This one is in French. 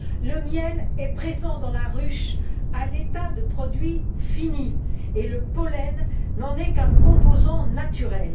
Le miel est présent dans la ruche à l'état de produit fini. Le pollen n'en est qu'un composant naturel.